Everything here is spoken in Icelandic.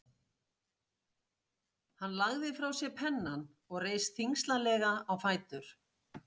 Hann lagði frá sér pennann og reis þyngslalega á fætur.